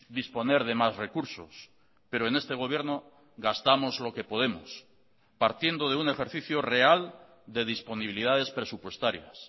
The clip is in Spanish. disponer de más recursos pero en este gobierno gastamos lo que podemos partiendo de un ejercicio real de disponibilidades presupuestarias